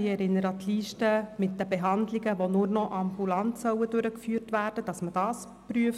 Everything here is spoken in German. Ich erinnere daran, dass man die Liste mit den Behandlungen prüft, die nur noch ambulant durchgeführt werden sollen